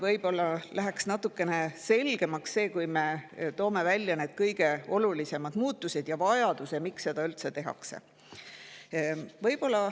Võib-olla läheks see natukene selgemaks, kui me toome välja need kõige olulisemad muutused ja vajaduse, miks seda üldse tehakse.